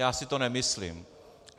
Já si to nemyslím.